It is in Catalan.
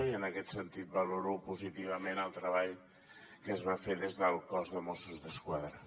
i en aquest sentit valoro positivament el treball que es va fer des del cos de mossos d’esquadra